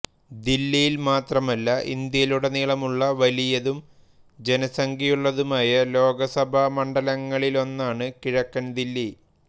ദില്ലിയിൽ മാത്രമല്ല ഇന്ത്യയിലുടനീളമുള്ള വലിയതും ജനസംഖ്യയുള്ളതുമായ ലോകസഭാമണ്ഡലങ്ങളിലൊന്നാണ് കിഴക്കൻ ദില്ലി